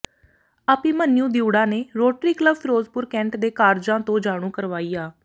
ਅਭਿਮਨਯੂੰ ਦਿਉੜਾ ਨੇ Rotary Club Ferozepur cantt ਦੇ ਕਾਰਜਾਂ ਤੋਂ ਜਾਣੂ ਕਰਵਾਇਆ